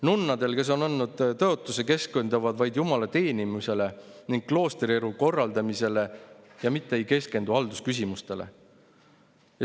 Nunnad, kes on andnud tõotuse, keskenduvad vaid jumala teenimisele ning kloostrielu korraldamisele, nad ei keskendu haldusküsimustele.